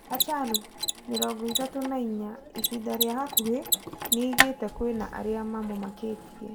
Hachalu, mirongo ithatũ na inya, ihinda ria hakuhi niagite kwina aria mamumakitie